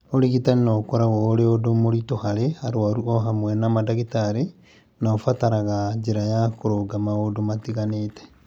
Ũrigitani no ũkoragwo ũrĩ ũndũ mũritũ harĩ arwaru o hamwe na mandagĩtarĩ, na ũbataraga njĩra ya kũrũnga maũndũ matiganĩte.